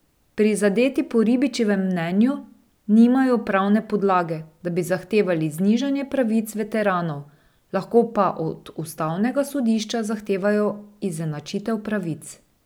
Prizadeti po Ribičičevem mnenju nimajo pravne podlage, da bi zahtevali znižanje pravic veteranov, lahko pa od ustavnega sodišča zahtevajo izenačitev pravic.